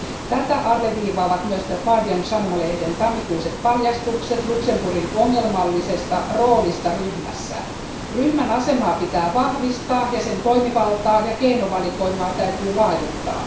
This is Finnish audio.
Tätä alleviivaavat myös The Guardian sanomalehden tammikuiset paljastukset Luxemburgin ongelmallisesta roolista ryhmässä. Ryhmän asemaa pitää vahvistaa ja sen toimivaltaa ja keinovalikoimaa täytyy laajentaa.